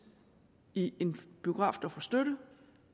i en biograf der får støtte